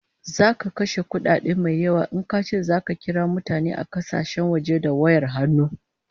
Zaka kashe kudi mai yawa in kace zaka kira mutane a kasashen waje da wayar hannu